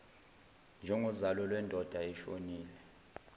njengozalo lwendoda eshonile